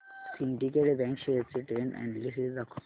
Syndicate bank shares चे trend analysis दाखव